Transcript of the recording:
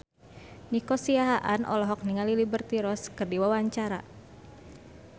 Nico Siahaan olohok ningali Liberty Ross keur diwawancara